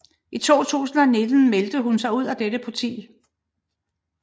I 2019 meldte hun sig ud af dette parti